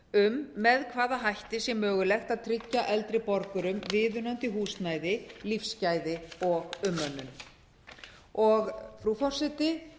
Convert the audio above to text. um með hvaða hætti sé mögulegt að tryggja eldri borgurum viðunandi húsnæði lífsgæði og umönnun frú forseti